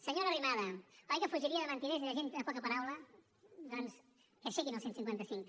senyora arrimadas oi que fugiria de mentiders i de gent de poca paraula doncs que aixequin el cent i cinquanta cinc